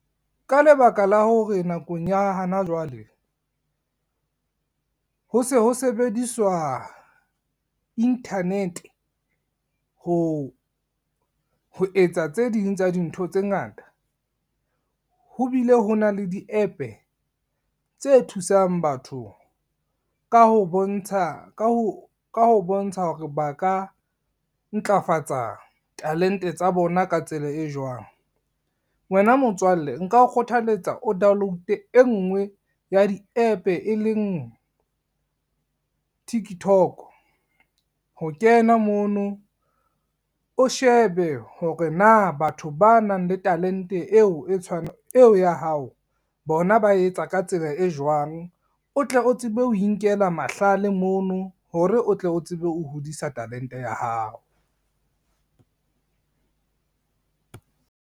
Ka lebaka la hore nakong ya hana jwale, ho se ho sebediswa internet ho etsa tse ding tsa dintho tse ngata, ho bile ho na le di-app-e tse thusang batho ka ho bontsha hore ba ka ntlafatsa talente tsa bona ka tsela e jwang. Wena motswalle nka o kgothaletsa o download-e e ngwe ya di-app-e e leng Tiktok, ho kena mono o shebe hore na batho ba nang le talente eo ya hao bona ba etsa ka tsela e jwang, o tle o tsebe ho inkela mahlale mono hore o tle o tsebe ho hodisa talente ya hao.